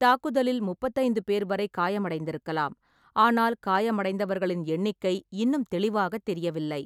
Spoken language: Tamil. தாக்குதலில் முப்பத்தைந்து பேர் வரை காயமடைந்திருக்கலாம். ஆனால், காயமடைந்தவர்களின் எண்ணிக்கை இன்னும் தெளிவாகத் தெரியவில்லை.